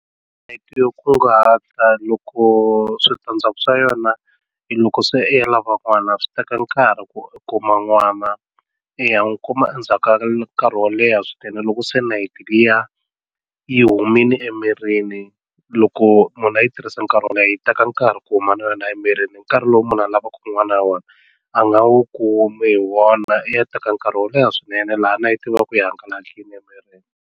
Nayiti yo kunguhata loko switandzhaku swa yona i loko se i ya lava n'wana swi teka nkarhi ku i kuma n'wana i ya n'wi kuma endzhaku ka nkarhi wo leha swinene loko se nayiti liya yi humile emirini loko munhu a yi tirhisa nkarhi wo leha yi teka nkarhi ku huma na yona emirini nkarhi lowu munhu a lavaku n'wana hi wona a nga wu kumi hi wona i ya teka nkarhi wo leha swinene laha nayiti yi va ka yi hangalakile emirini.